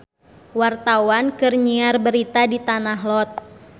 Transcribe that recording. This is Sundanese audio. Wartawan keur nyiar berita di Tanah Lot